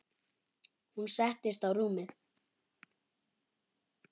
Hún settist á rúmið.